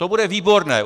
To bude výborné!